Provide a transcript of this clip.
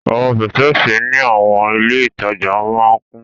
Awọn pẹtẹẹsì ni awọn ile itaja maa n kun